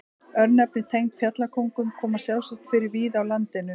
Örnefni tengd fjallkóngum koma sjálfsagt fyrir víða á landinu.